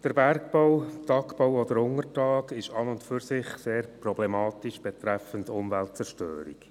Der Bergbau ist an sich sehr problematisch bezüglich der Umweltzerstörung.